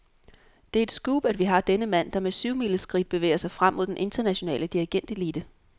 Det er et scoop, at vi har denne mand, der med syvmileskridt bevæger sig frem mod den internationale dirigentelite.